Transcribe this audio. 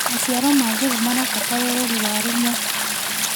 Macĩaro ma njũgũ marabatara ũrorĩ warũmwe